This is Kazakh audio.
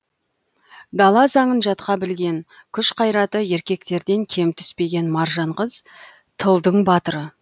дала заңын жатқа білген күш қайраты еркектерден кем түспеген маржан қыз тылдың батыры